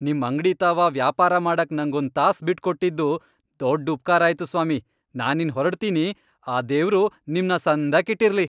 ನಿಮ್ ಅಂಗ್ಡಿ ತಾವ ವ್ಯಾಪಾರ ಮಾಡಕ್ ನಂಗೊಂದ್ ತಾಸ್ ಬಿಟ್ಕೊಟ್ಟಿದ್ದು ದೊಡ್ಡ್ ಉಪ್ಕಾರ ಆಯ್ತು ಸ್ವಾಮಿ, ನಾನಿನ್ನ್ ಹೊರಡ್ತೀನಿ, ಆ ದೇವ್ರು ನಿಮ್ನ ಸಂದಾಕಿಟ್ಟಿರ್ಲಿ.